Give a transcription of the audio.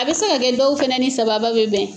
A bɛ se ka kɛ dɔw fɛnɛ ni sababa bɛ bɛn.